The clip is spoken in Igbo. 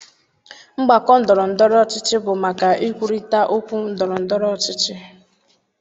Mgbakọ ndọrọ ndọrọ ọchịchị bụ maka ikwurịta okwu ndọrọ ndọrọ ọchịchị.